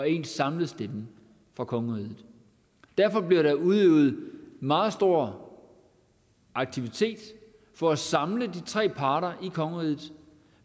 en samlet stemme fra kongeriget derfor bliver der udøvet meget stor aktivitet for at samle de tre parter i kongeriget og